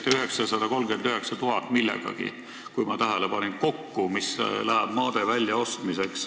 Te ütlesite, kui ma õigesti tähele panin, et 939 000 millegagi läheb kokku maade väljaostmiseks.